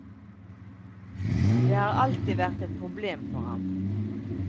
Det har alltid vært et problem for ham.